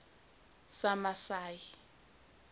samasayi